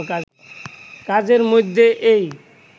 কাজের মধ্যে এই